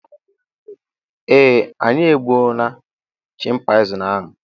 eeh, anyị egbuo na chịmpaizịn ahụ